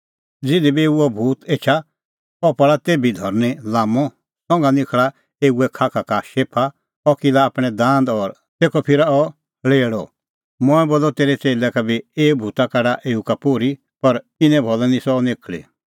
ज़िधी बी एऊ अह भूत एछा अह पल़ा तेभै धरनीं लाम्मअ संघा निखल़ा एऊए खाखा का शेफा अह किला आपणैं दांद और तेखअ फिरा अह ल़ेल़अ मंऐं बोलअ तेरै च़ेल्लै का बी कि एऊ भूता काढा एऊ का पोर्ही पर इने भलै निस्सअ अह निखल़ी